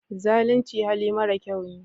Zalunci hali mara kyau ne